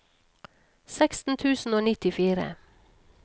seksten tusen og nittifire